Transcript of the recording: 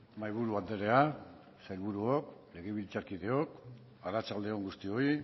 mahaiburu andrea sailburuok legebiltzarkideok arratsalde on guztioi